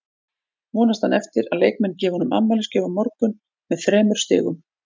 Vonast hann eftir að leikmenn gefi honum afmælisgjöf á morgun með þremur stigum?